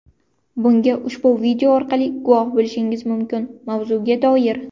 Bunga ushbu video orqali guvoh bo‘lishingiz mumkin Mavzguga doir: !